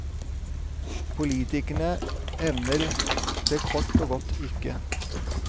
Politikerne evner det kort og godt ikke.